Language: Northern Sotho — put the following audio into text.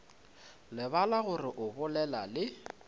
lebala gore o bolela le